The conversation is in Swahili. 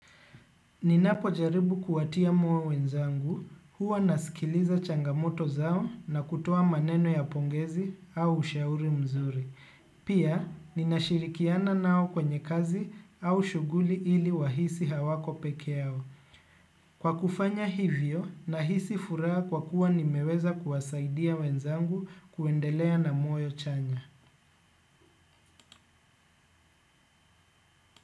Ninapojaribu kuwatia moyo wenzangu, huwa nasikiliza changamoto zao na kutoa maneno ya pongezi au ushauri mzuri. Pia, ninashirikiana nao kwenye kazi au shughuli ili wahisi hawako pekee yao. Kwa kufanya hivyo, nahisi furaa kwa kuwa nimeweza kuwasaidia wenzangu kuendelea na muwe chanya.